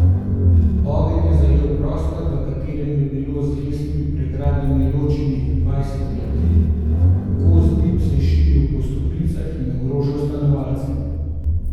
Ogenj je zajel prostor, v katerem je bilo z lesenimi pregradami ločenih dvajset kleti, gost dim se je širil po stopnicah in ogrožal stanovalce.